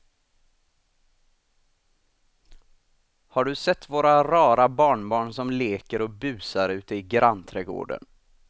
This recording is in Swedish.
Har du sett våra rara barnbarn som leker och busar ute i grannträdgården!